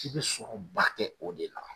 K'i be sunɔgɔba kɛ o de la